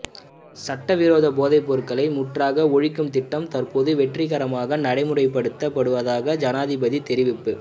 சட்டவிரோத போதைப்பொருளை முற்றாக ஒழிக்கும் திட்டம் தற்போது வெற்றிகரமாக நடைமுறைப்படுத்தப்படுவதாக ஜனாதிபதி தெரிவிப்பு